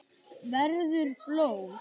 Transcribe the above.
Verður blóð.